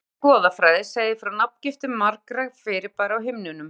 Í grískri goðafræði segir frá nafngiftum margra fyrirbæra á himninum.